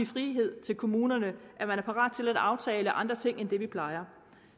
frihed til kommunerne at man er parat til at aftale andre ting end det vi plejer